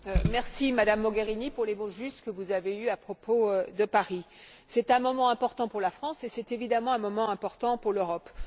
Madame la Présidente, merci Madame Mogherini pour les mots justes que vous avez eus à propos de Paris. C'est un moment important pour la France et c'est évidemment un moment important pour l'Europe.